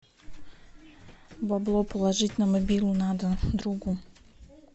бабло положить на мобилу надо другу